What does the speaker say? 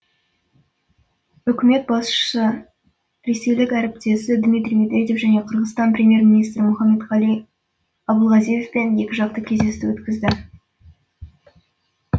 үкімет басшысы ресейлік әріптесі дмитрий медведев және қырғызстан премьер министрі мұхаммедқали абылгазиевпен екіжақты кездесу өткізді